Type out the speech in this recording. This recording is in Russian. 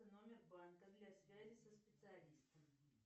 номер банка для связи со специалистом